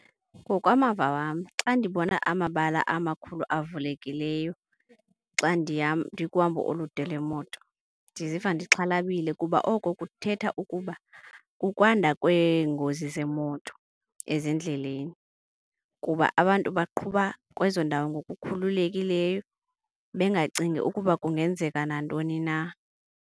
Ngokwamava wam xa ndibona amabala amakhulu avulekileyo xa ndikuhambo olude lwemoto, ndiziva ndixhalabile kuba oko kuthetha ukuba kukwanda kweengozi zemoto ezindleleni. Kuba abantu baqhuba kwezo ndawo ngokukhululekileyo bengacingi nokuba kungenzeka nantoni na.